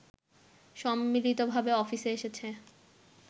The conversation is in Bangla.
সম্মিলিতভাবে অফিসে এসেছে